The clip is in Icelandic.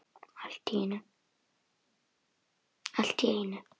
Allt í einu.